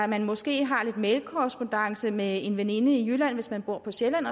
man måske har lidt mailkorrespondance med en veninde i jylland hvis man bor på sjælland